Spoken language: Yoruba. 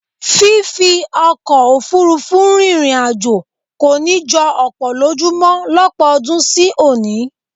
Fífi ọkọ̀ òfuurufú rìnrìn àjò kò ní jọ ọ̀pọ̀ lójú mọ lọ́pọ̀ ọdún sí òní